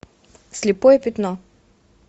слепое пятно